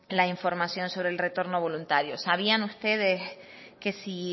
la información sobre el retorno voluntario sabían ustedes que si